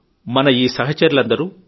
మన ఈ సహచరులందరూ